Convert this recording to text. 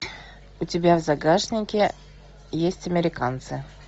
у тебя в загашнике есть американцы